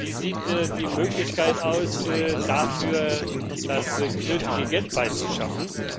Wie sieht die Möglichkeit aus, dafür das nötige Geld herbeizuschaffen?